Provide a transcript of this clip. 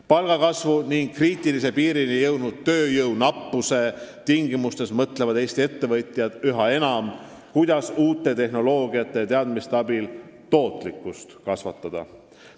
Palgakasvu ja kriitilise piirini jõudnud tööjõu nappuse tingimustes mõtlevad Eesti ettevõtjad aga üha enam, kuidas uue tehnoloogia ja teadmiste abil tootlikkust kasvatada.